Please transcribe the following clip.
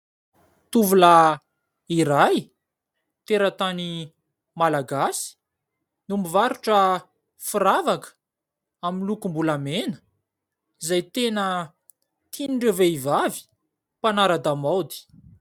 Tovolahy iray teratany Malagasy no mivarotra firavaka amin'ny lokom-bolamena izay tena tian'ireo vehivavy mpanara-damaody.